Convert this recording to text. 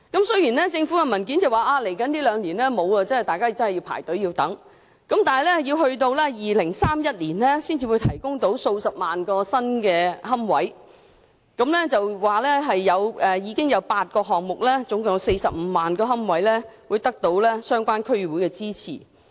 雖然政府的文件顯示，未來兩年供應欠奉，輪候者要等到2031年，才有數十萬個新龕位提供；文件亦指出目前有8個項目，共45萬個龕位得到相關區議會支持。